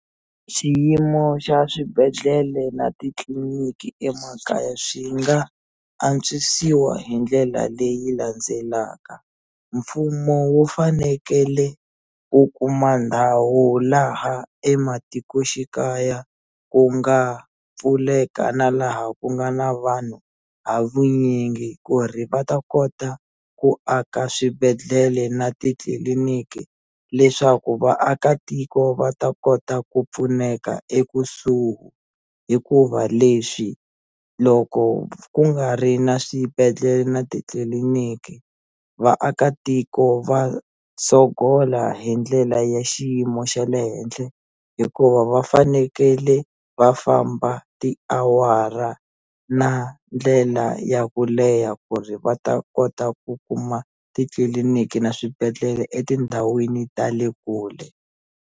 Xiyimo xa swibedhlele na titliliniki emakaya swi nga antswisiwa hi ndlela leyi landzelaka mfumo wu fanekele ku kuma ndhawu laha ematikoxikaya ku nga pfuleka na laha ku nga na vanhu ha vunyingi ku ri va ta kota ku aka swibedhlele na titliliniki leswaku vaakatiko va ta kota ku pfuneka ekusuhi hikuva leswi loko ku nga ri na swibedhlele na titliliniki vaakatiko va sogola hi ndlela ya xiyimo xa le henhle hikuva va fanekele va famba tiawara na ndlela ya ku leha ku ri va ta kota ku kuma titliliniki na swibedhlele etindhawini ta le kule.